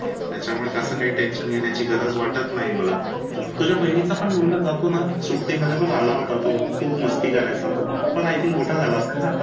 त्याच्यामुळे जास्त काही tension घेण्याची गरज वाटत नाही मला तुझ्या बहिणीचा मुलगा पण जातो ना सुट्टी मध्ये आला होता बघ खूप मस्ती करायचा तो पण i think मोठा झाला असेल ना